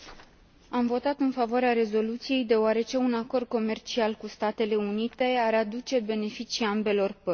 Am votat în favoarea rezoluției deoarece un acord comercial cu Statele Unite ar aduce beneficii ambelor părți.